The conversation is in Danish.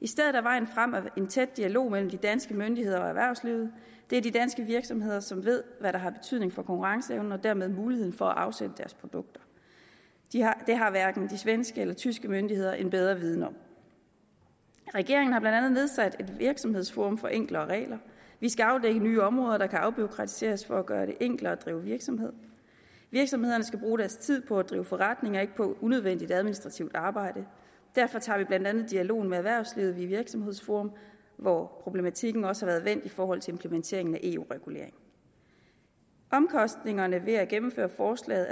i stedet er vejen frem en tæt dialog mellem de danske myndigheder og erhvervsdrivende det er de danske virksomheder som ved hvad der har betydning for konkurrenceevnen og dermed muligheden for at afsætte deres produkter det har hverken de svenske eller tyske myndigheder en bedre viden om regeringen har andet nedsat et virksomhedsforum for enklere regler vi skal afdække nye områder der kan afbureaukratiseres for at gøre det enklere at drive virksomhed virksomhederne skal bruge deres tid på at drive forretning og ikke på unødvendigt administrativt arbejde derfor tager vi blandt andet dialogen med erhvervslivet i virksomhedsforum hvor problematikken også har været vendt i forhold til implementeringen af eu reguleringer omkostningerne ved at gennemføre forslaget